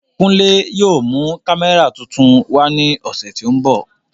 Kunle yóò mu kamẹra tuntun wa ni ọsẹ ti n bọ.